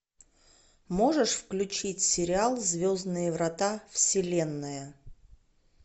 можешь включить сериал звездные врата вселенная